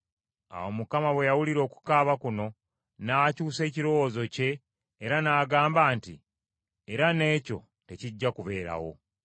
Awo Mukama bwe yawulira okukaaba kuno, n’akyusa ekirowoozo kye. Era n’agamba nti, “Era n’ekyo tekijja kubeerawo.”